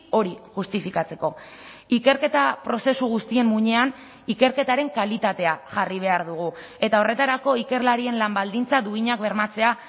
hori justifikatzeko ikerketa prozesu guztien muinean ikerketaren kalitatea jarri behar dugu eta horretarako ikerlarien lan baldintza duinak bermatzea